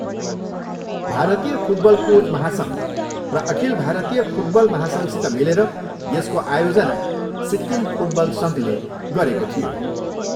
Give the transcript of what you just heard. भारतीय football coach महासङ्घ र अखिल भारतीय फुटबल महासङ्घसित मिलेर यसको आयोजना सिक्किम फुटबल सङ्घले गरेको थियो।